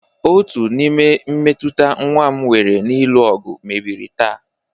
Otu n'ime mmetụta nwa m nwere n'ịlụ ọgụ mebiri taa